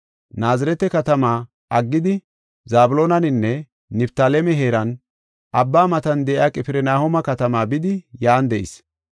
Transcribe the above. Naazirete katamaa aggidi Zabloonaninne Niftaaleme heeran, abba matan de7iya Qifirnahooma katamaa bidi yan de7is.